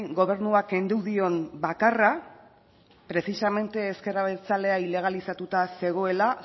gobernuak kendu dion bakarra precisamente ezker abertzalea ilegalizatuta zegoela